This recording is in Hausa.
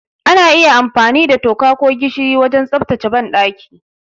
Ana iya amfani da toka ko gishiri wajen tsaftace banɗaki.